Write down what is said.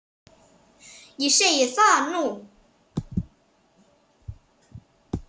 Ég segi það nú!